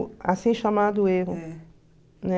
assim chamado erro, né?